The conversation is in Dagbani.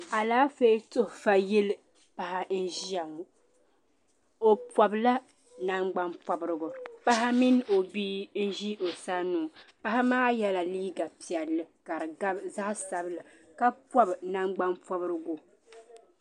Alaafɛɛ tuhi fa yilli paɣa nzɛ ya ŋɔ o pɔbi la nangdani pɔbrigu paɣi mini o bia nzɛ o san ŋɔ paɣa maa yɛla liiga piɛlli kari gabi zaɣi sabinli ka pɔbi nangban pɔbrigu.